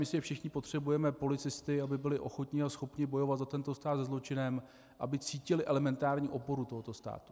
Myslím, že všichni potřebujeme policisty, aby byli ochotni a schopni bojovat za tento stát se zločinem, aby cítili elementární oporu tohoto státu.